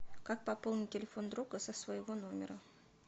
как пополнить телефон друга со своего номера